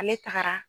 Ale tagara